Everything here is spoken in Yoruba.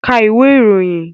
Ka ìwé ìròyìn!